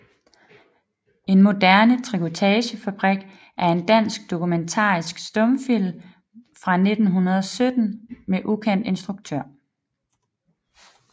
En moderne Trikotagefabrik er en dansk dokumentarisk stumfilm fra 1917 med ukendt instruktør